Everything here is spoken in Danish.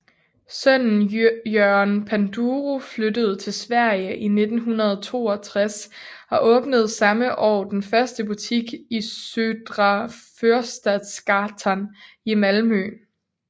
Sønnen Jørgen Panduro flyttede til Sverige i 1962 og åbnede samme år den første butik i Södra Förstadsgatan i Malmö